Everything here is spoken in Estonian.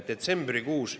Detsembrikuus ...